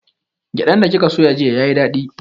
Gyaɗan da kika soya jiya yayi daɗi